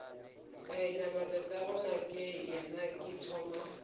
ka inama tatagonakeyena ke thoma